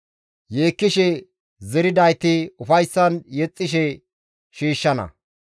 Yeekkishe zeridayti ufayssan yexxishe shiishshana.